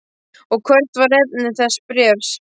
Og hvert var efni þess bréfs?